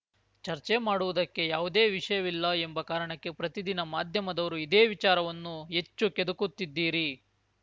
ಚರ್ಚೆ ಮಾಡುವುದಕ್ಕೆ ಯಾವುದೇ ವಿಷಯವಿಲ್ಲ ಎಂಬ ಕಾರಣಕ್ಕೆ ಪ್ರತಿದಿನ ಮಾಧ್ಯಮದವರು ಇದೇ ವಿಚಾರವನ್ನು ಹೆಚ್ಚು ಕೆದಕುತ್ತಿದ್ದೀರಿ